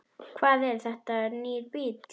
Hvað, er þetta nýr bíll?